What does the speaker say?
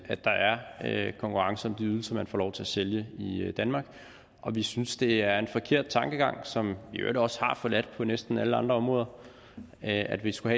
at konkurrence om de ydelser man får lov til at sælge i danmark og vi synes det er en forkert tankegang som man i øvrigt også har forladt på næsten alle andre områder at vi skulle